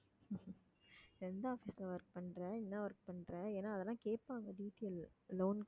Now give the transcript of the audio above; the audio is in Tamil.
எந்த office ல work பண்ற என்ன work பண்ற ஏன்னா அதெல்லாம் கேப்பாங்க detail loan க்கு